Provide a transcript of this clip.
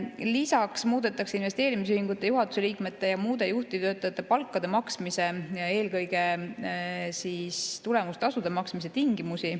Lisaks muudetakse investeerimisühingute juhatuse liikmete ja muude juhtivtöötajate palkade maksmise ja eelkõige tulemustasude maksmise tingimusi.